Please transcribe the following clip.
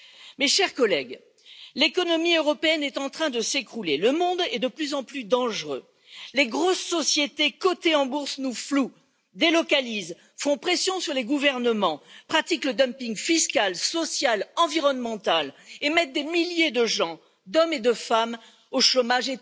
Mes chers collègues, l'économie européenne est en train de s'écrouler, le monde est de plus en plus dangereux, les grosses sociétés cotées en bourse nous flouent, délocalisent, font pression sur les gouvernements, pratiquent le dumping fiscal, social, environnemental et mettent des milliers de gens, d'hommes et de femmes, au chômage.